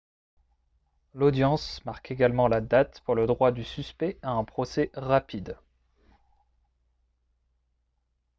l'audience marque également la date pour le droit du suspect à un procès rapide